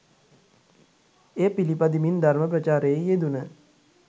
එය පිළිපදිමින් ධර්ම ප්‍රචාරයෙහි යෙදුන